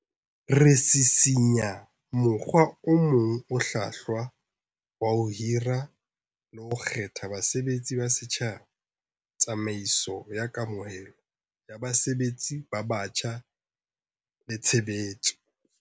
Re sisinya mokgwa o mong o hlwahlwa wa ho hira le ho kgetha basebetsi ba setjhaba, tsamaiso ya kamohelo ya basebetsi ba batjha le tshe betso.